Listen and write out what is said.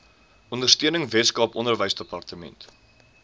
ondersteuning weskaap onderwysdepartement